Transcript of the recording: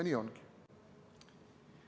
Nii ongi.